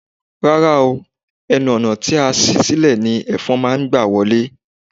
Rárá o, ẹnu ọ̀nà tí a ṣí sílè ni Ẹ̀fọn máa gbà wọlé.